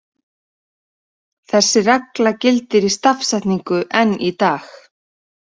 Þessi regla gildir í stafsetningu enn í dag.